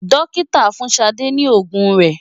Dókítà fún Ṣadé ní òògùn rẹ̀.